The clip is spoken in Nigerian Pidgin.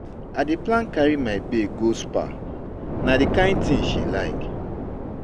I dey plan carry my babe go spa, na di kain tin she like.